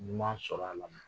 Ɲuman sɔrɔ a la